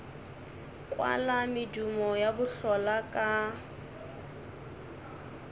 kwala medumo ya bohlola ka